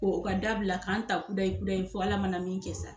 O ka da bila k'an ta kudayi kudayi fo Ala mana min kɛ sa.